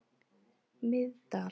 Miðdal